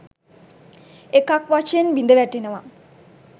එකක් වශයෙන් බිඳවැටෙනවා.